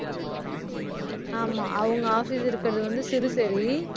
ஆமா, அவங்க office இருக்குறது வந்து சிறுசேரி